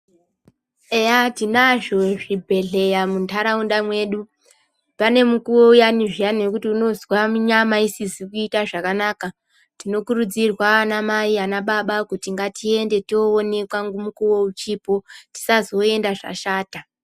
Eya tinazvo zvibhedhlera mundaraunda mwedu pane mukuwo uyani zviyani wekuti unozwa kuti nyama asizi kuita zvakanaka tinokuridzirwa anamai anababa kuti ngatiende kuno onekwa mukuwo uchipo tisazoenda zvashata.